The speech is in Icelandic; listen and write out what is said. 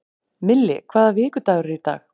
Milli, hvaða vikudagur er í dag?